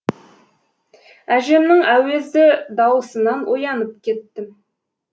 әжемнің әуезді дауысынан оянып кеттім